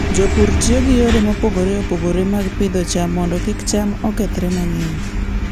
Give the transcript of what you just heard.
Jopur tiyo gi yore mopogore opogore mag pidho cham mondo kik cham okethre mang'eny.